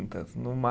No mar